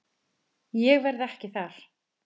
Ég verð ekki þar.